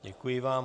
Děkuji vám.